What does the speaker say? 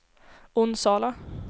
Onsala